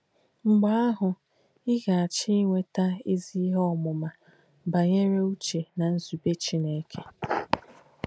Mgbé àhù, ị ghàchī īnwéta èzí íhe òmùmà bànyè̄re úche nà nzùbé Chìnéke.